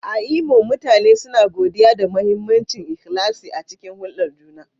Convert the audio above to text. A Imo, mutane suna godiya da mahimmancin ikhlasi a cikin hulɗar juna.